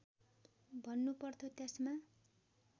भन्नु पर्थ्यो त्यसमा